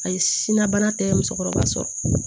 Ayi si na bana tɛ musokɔrɔba sɔrɔ